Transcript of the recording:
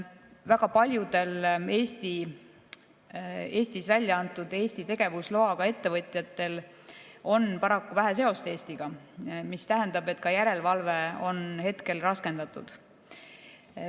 Väga paljudel Eestis väljaantud ja Eesti tegevusloaga ettevõtjatel on paraku vähe seost Eestiga, mis tähendab, et ka järelevalve on raskendatud.